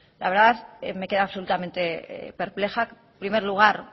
la verdad me he quedado absolutamente perpleja en primer lugar